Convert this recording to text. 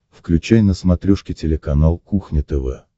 включай на смотрешке телеканал кухня тв